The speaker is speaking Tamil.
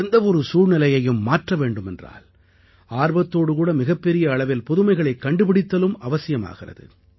எந்த ஒரு சூழ்நிலையையும் மாற்ற வேண்டும் என்றால் ஆர்வத்தோடுகூட மிகப்பெரிய அளவில் புதுமைகளைக் கண்டுபிடித்தலும் அவசியமாகிறது